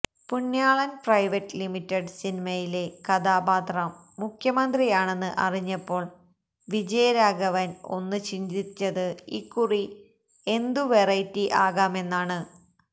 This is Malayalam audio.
പുണ്യാളൻ പ്രൈവറ്റ് ലിമിറ്റഡ് സിനിമയിലെ കഥാപാത്രം മുഖ്യമന്ത്രിയാണെന്ന് അറിഞ്ഞപ്പോൾ വിജയരാഘവൻ ഒന്ന് ചിന്തിച്ചത് ഇക്കുറി എന്തു വെറൈറ്റി ആകാമെന്നാണ്